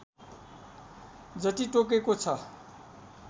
जति तोकेको छ